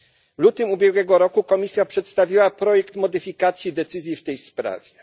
W lutym ubiegłego roku Komisja przedstawiła projekt modyfikacji decyzji w tej sprawie.